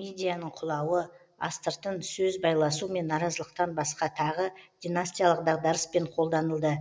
мидияның құлауы астыртын сөз байласу мен наразылықтан басқа тағы династиялық дағдарыспен қолданылды